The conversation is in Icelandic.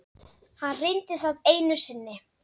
Hann reyndi það einu sinni.